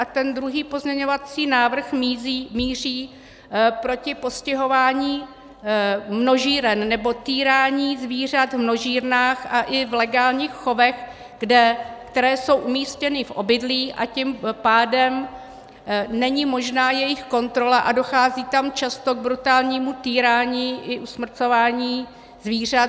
A ten druhý pozměňovací návrh míří proti (?) postihování množíren nebo týrání zvířat v množírnách a i v legálních chovech, které jsou umístěny v obydlí, a tím pádem není možná jejich kontrola a dochází tam často k brutálnímu týrání i usmrcování zvířat.